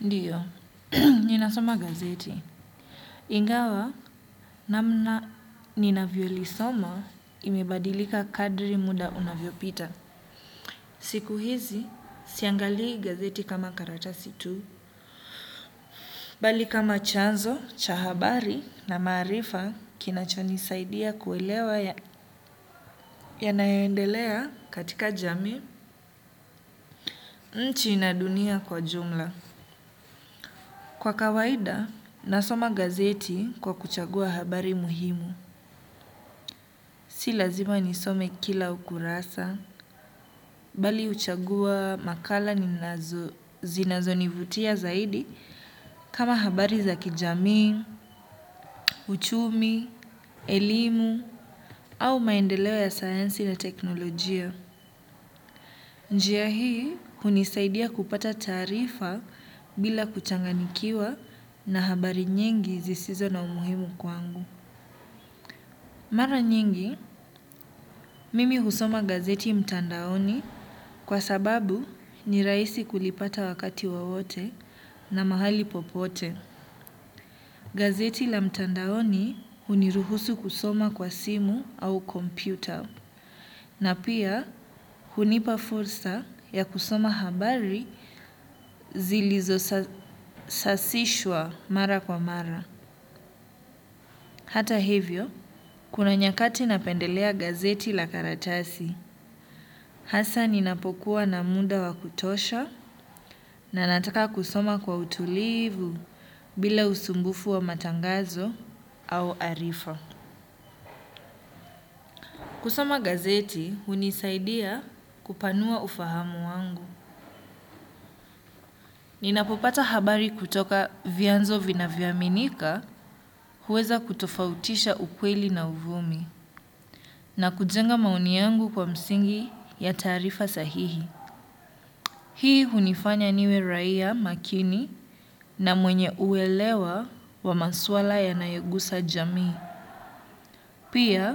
Ndiyo ninasoma gazeti. Ingawa namna ninavyo lisoma imebadilika kadri muda unavyo pita. Siku hizi siangalii gazeti kama karatasi tu. Bali kama chanzo cha habari na maarifa kinacho nisaidia kuelewa yanayoendelea katika jamii nchi na dunia kwa jumla. Kwa kawaida nasoma gazeti kwa kuchagua habari muhimu. Si lazima nisome kila ukurasa bali huchagua makala zinazo nivutia zaidi kama habari za kijamii uchumi elimu au maendeleo ya sayansi na teknolojia. Njia hii hunisaidia kupata taarifa bila kuchanganikiwa na habari nyingi zisizo na umuhimu kwangu. Mara nyingi mimi husoma gazeti mtandaoni kwa sababu ni rahisi kulipata wakati wowote na mahali popote. Gazeti la mtandaoni huniruhusu kusoma kwa simu au komyputa. Na pia hunipa fursa ya kusoma habari zilizo sasishwa mara kwa mara. Hata hivyo kuna nyakati napendelea gazeti la karatasi. Hasa ninapokuwa na muda wa kutosha na nataka kusoma kwa utulivu bila usumbufu wa matangazo au arifa. Kusoma gazeti hunisaidia kupanua ufahamu wangu ninapopata habari kutoka vyanzo vinavyoaminika huweza kutofautisha ukweli na uvumi na kujenga maoni yangu kwa msingi ya taarifa sahihi. Hii hunifanya niwe raia makini na mwenye uelewa wa maswala yanayogusa jamii. Pia